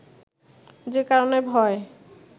যে কারণে ভয়